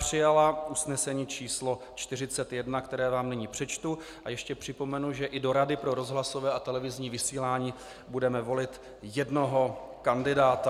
Přijala usnesení číslo 41, které vám nyní přečtu, a ještě připomenu, že i do Rady pro rozhlasové a televizní vysílání budeme volit jednoho kandidáta.